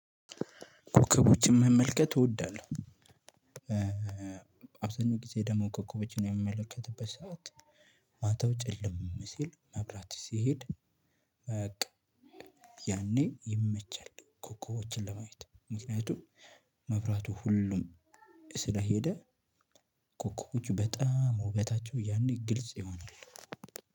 ኮከቦችን መመልከት እወዳለሁ። አብዛኛው ጊዜ ደግሞ ኮከቦችን የሚመለከትበት ሰዓት ማተው ጭልም ሲል መብራት ሲሄድ። በቃ ያኔ ይመቸል ኮኮቦችን ለማየት ምክንያቱም መብራቱ ሁሉም ስለሄደ። ኮኮቦቹ በጣም ውበታቸው ያኔ ግልጽ ይሆናሉ።